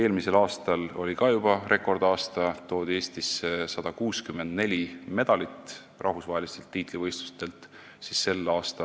Eelmine aasta oli ka juba rekordaasta: Eestisse toodi rahvusvahelistelt tiitlivõistlustelt 164 medalit.